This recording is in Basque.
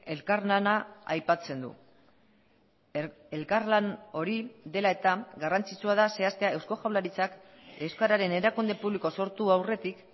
elkarlana aipatzen du elkarlan hori dela eta garrantzitsua da zehaztea eusko jaurlaritzak euskararen erakunde publiko sortu aurretik